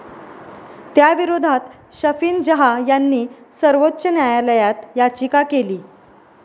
त्याविरोधात शफिन जहा यांनी सर्वोच्च न्यायालयात याचिका केली.